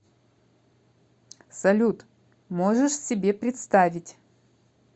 салют можешь себе представить